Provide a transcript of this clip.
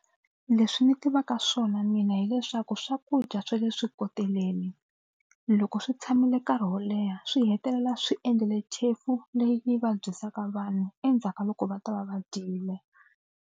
Leswi ni tivaka swona mina hileswaku swakudya swa le swikoteleni loko swi tshamile nkarhi wo leha swi hetelela swi endlile chefu leyi vabyisaka vanhu endzhaku ka loko va ta va va dyile.